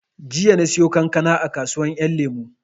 Jiya na siyo kankana a kasuwar ƴan lemo